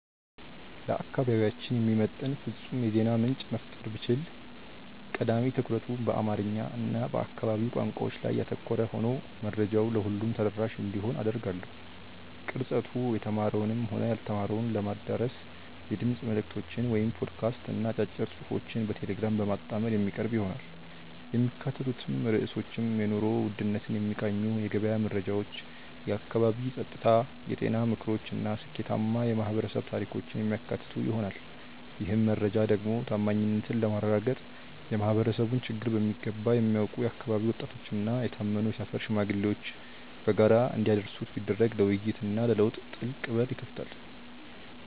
ለአካባቢያችን የሚመጥን ፍጹም የዜና ምንጭ መፍጠር ብችል፣ ቀዳሚ ትኩረቱ በአማርኛ እና በአካባቢው ቋንቋዎች ላይ ያተኮረ ሆኖ መረጃው ለሁሉም ተደራሽ እንዲሆን አደርጋለሁ። ቅርጸቱ የተማረውንም ሆነ ያልተማረውን ለማዳረስ የድምፅ መልዕክቶችን (ፖድካስት) እና አጫጭር ጽሑፎችን በቴሌግራም በማጣመር የሚቀርብ ይሆናል። የሚካተቱት ርዕሶችም የኑሮ ውድነትን የሚቃኙ የገበያ መረጃዎች፣ የአካባቢ ጸጥታ፣ የጤና ምክሮች እና ስኬታማ የማኅበረሰብ ታሪኮችን የሚያካትቱ ይሆናል። ይህን መረጃ ደግሞ ታማኝነትን ለማረጋገጥ የማኅበረሰቡን ችግር በሚገባ የሚያውቁ የአካባቢው ወጣቶችና የታመኑ የሰፈር ሽማግሌዎች በጋራ እንዲያደርሱት ቢደረግ ለውይይትና ለለውጥ ትልቅ በር ይከፍታል።